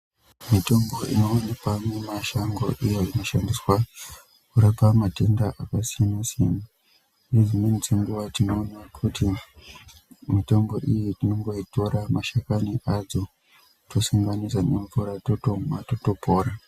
Mitombo inoonekwa mumashango iyo inoshandiswa kurapa matenda akasiyana-siyana. Nedzimweni dzenguva tinoona kuti mitombo iyi tinongoitora mashakani adzo tosanganisa nemvura totomwa totopora.